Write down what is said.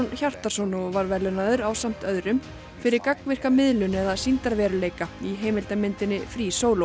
Hjartarson og var verðlaunaður ásamt öðrum fyrir gagnvirka miðlun eða sýndarveruleika í heimildarmyndinni free